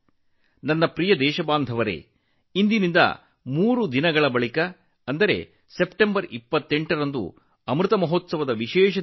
ನನ್ನ ಪ್ರೀತಿಯ ದೇಶವಾಸಿಗಳೇ ಮೂರು ದಿನಗಳ ನಂತರ ಅಂದರೆ ಸೆಪ್ಟೆಂಬರ್ 28 ರಂದು ಅಮೃತ ಮಹೋತ್ಸವದ ವಿಶೇಷ ದಿನ